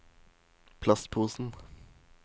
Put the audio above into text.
plastposen